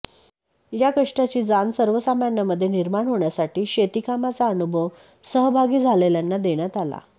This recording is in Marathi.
या कष्टाची जाण सर्वसामान्यांमध्ये निर्माण होण्यासाठी शेतीकामाचा अनुभव सहभागी झालेल्यांना देण्यात आला